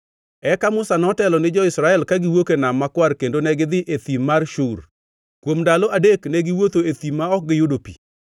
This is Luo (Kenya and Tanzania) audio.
Eka Musa notelo ni Israel kagiwuok e Nam Makwar kendo negidhi ei thim mar Shur. Kuom ndalo adek ne giwuotho e thim ma ok giyudo pi.